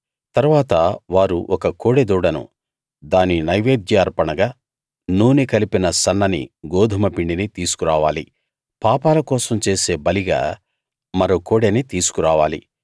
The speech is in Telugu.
తరువాత వారు ఒక కోడెదూడను దాని నైవేద్య అర్పణగా నూనె కలిపిన సన్నని గోదుమ పిండినీ తీసుకు రావాలి పాపాల కోసం చేసే బలిగా మరో కోడెని తీసుకు రావాలి